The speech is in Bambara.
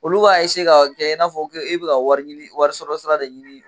Olu b'a ka kɛ i n'a fɔ e bɛ ka wari ɲini wariso sira de ɲini